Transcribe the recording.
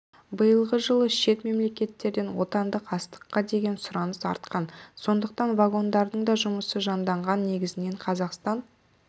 биылғы жылы шет мемлекеттерден отандық астыққа деген сұраныс артқан сондықтан вагондардың да жұмысы жанданған негізінен қазақстан